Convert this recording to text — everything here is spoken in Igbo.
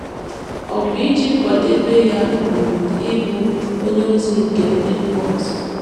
Ọ̀ bụ iji kwadebe ya um ịbụ “ onyeozi nke ndị mba ọzọ ”?